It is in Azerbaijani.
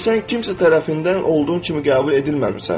Çünki sən kimsə tərəfindən olduğun kimi qəbul edilməmisən.